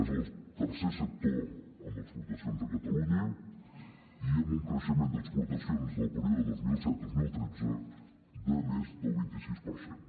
és el tercer sector en exportacions a catalunya i amb un creixement d’exportacions del període dos mil setdos mil tretze de més del vint sis per cent